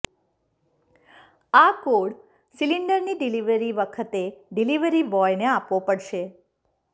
આ કોડ સિલિન્ડરની ડિલિવરી વખતે ડિલિવરી બોયને આપવો પડશે